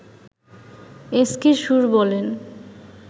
S K Sur বলেন